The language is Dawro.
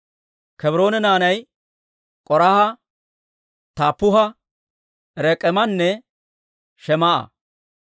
Kebroone naanay K'oraaha, Taappuha, Rek'eemanne Shemaa'a.